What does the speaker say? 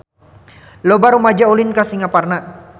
Loba rumaja ulin ka Singaparna